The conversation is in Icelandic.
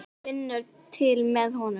Hún finnur til með honum.